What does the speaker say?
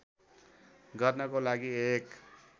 गर्नको लागि एक